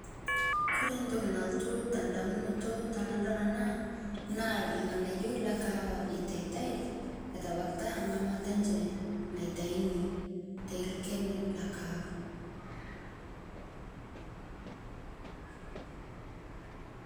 kore ntoki naltu te ndamunoto tanadol anaa naa lghanayo le kahawa eitaitai etabakita ngamata enshe naitaini te lkeni lekaawa